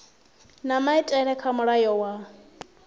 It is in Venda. na maitele kha mulayo wa